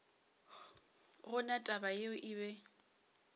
gona taba yeo e be